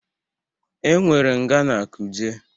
Enwere nga na Kuje.